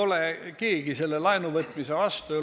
Ega keegi ei ole laenuvõtmise vastu.